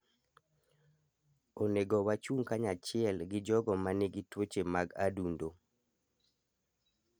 Onego wachung' kanyachiel gi jogo ma nigi tuoche mag adundo.